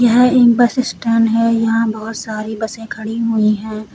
यह एक bus stand है यहां बहुत सारी बसें खड़ी हुई हैं।